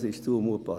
Das ist zumutbar.